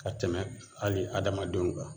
Ka tɛmɛ hali adamadenw kan